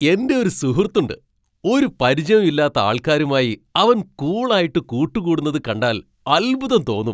എൻ്റെ ഒരു സുഹൃത്ത് ഉണ്ട്. ഒരു പരിചയവും ഇല്ലാത്ത ആൾക്കാരുമായി അവൻ കൂൾ ആയിട്ട് കൂട്ടുകൂടുന്നത് കണ്ടാൽ അത്ഭുതം തോന്നും.